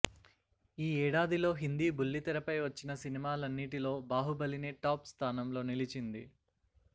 ఈ ఏడాదిలో హిందీ బుల్లితెరపై వచ్చిన సినిమాలనీటిలో బాహుబలినే టాప్ స్థానంలో నిలిచింది